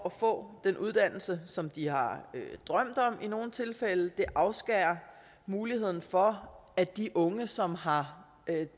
at få den uddannelse som de har drømt om det afskærer muligheden for at de unge som har